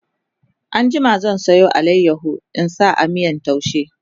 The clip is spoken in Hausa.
an jima zan Sayo alayaho in sa a miyan taushen